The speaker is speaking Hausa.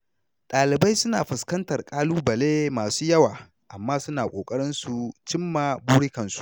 Ɗalibai suna fuskantar ƙalubale masu yawa amma suna ƙoƙari su cimma burikansu.